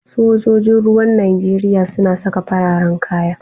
Sojoji ruwan Nijeriya suna saka fararan kaya.